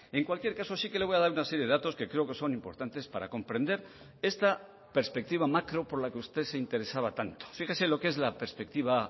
en cualquier caso sí que le voy a dar una serie de datos que creo que son importantes para comprender esta perspectiva macro por la que usted se interesaba tanto fíjese lo que es la perspectiva